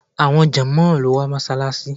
Àwọn jònmóò ni ó wà ní Mósálasí